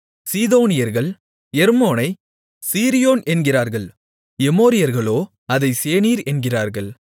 சீதோனியர்கள் எர்மோனைச் சீரியோன் என்கிறார்கள் எமோரியர்களோ அதைச் சேனீர் என்கிறார்கள்